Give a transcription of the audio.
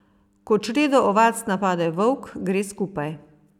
Ko čredo ovac napade volk, gre skupaj.